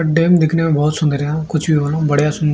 dam दिखने में बहोत सुंदर या कुछ भी हो या बढ़िया सु--